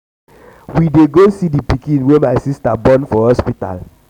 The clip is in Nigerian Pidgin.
we dey go see the pikin wey my sister born for hospital.